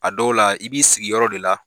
A dɔw la i b'i sigi yɔrɔ de la.